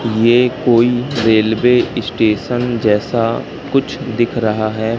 ये कोई railway station जैसा कुछ दिख रहा है।